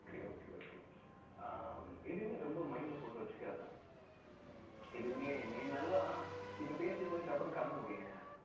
okay okay okay ஆஎதுவுமே ரொம்ப mind ல போட்டு வச்சுக்காதே. எதுவுமே எதுவுமே, நீ நல்லா இப்ப பேசிட்டு இருக்கும்போது, டப்புன்னு கண்ணை மூடியேன்